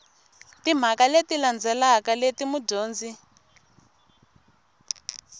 timhaka leti landzelaka leti mudyondzi